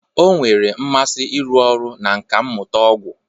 Ọ nwere mmasị n'ịrụ ọrụ na nkà mmụta ọgwụ